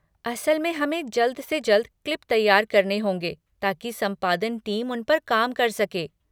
असल में हमें जल्द से जल्द क्लिप तैयार करने होंगे ताकि संपादन टीम उन पर काम कर सके।